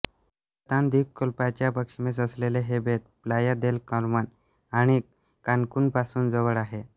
Yucatan द्वीपकल्पाच्या पश्चिमेस असलेले हे बेट प्लाया देल कार्मेन आणि कान्कुनपासून जवळ आहे